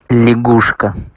лягушка